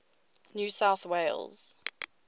new south wales